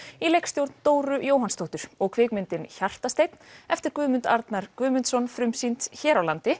í leikstjórn Dóru Jóhannsdóttur og kvikmyndin eftir Guðmund Arnar Guðmundsson frumsýnd hér á landi